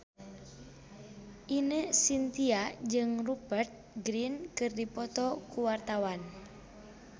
Ine Shintya jeung Rupert Grin keur dipoto ku wartawan